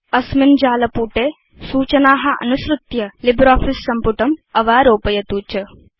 अस्मिन् वेबसाइट मध्ये सूचना अनुसृत्य लिब्रियोफिस सम्पुटम् अवारोपयतु च